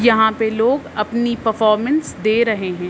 यहां पे लोग अपनी परफॉर्मेंस दे रहे हैं।